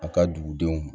A ka dugu denw ma